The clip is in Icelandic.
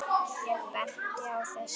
Ég bendi á þessi